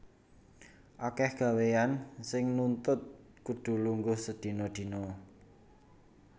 Akèh gawéyan sing nuntut kudu lungguh sedina dina